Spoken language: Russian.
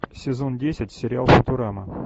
сезон десять сериал футурама